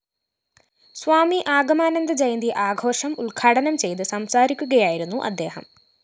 സ്വാമി ആഗമാനന്ദ ജയന്തി ആഘോഷം ഉദ്ഘാടനം ചെയ്ത് സംസാരിക്കുകയായിരുന്നു അദ്ദേഹം